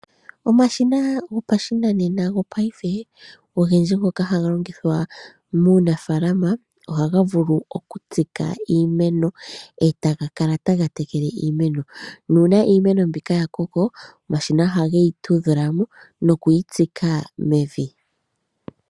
Omashina ogendji gopashinanena ngoka haga longithwa muunafaalama ohaga vulu okutsika iimeno e taga kala taga tekele iimeno nuuna iimeno mbika ya koko omashina ohageyi tudha mo noku yi tsika mevi.